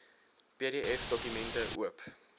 pdf dokumente oop